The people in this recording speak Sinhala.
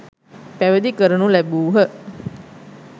පැවිදි කරනු ලැබූහ.